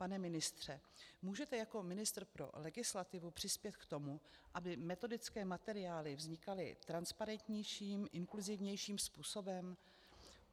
Pane ministře, můžete jako ministr pro legislativu přispět k tomu, aby metodické materiály vznikaly transparentnějším, inkluzívnějším způsobem?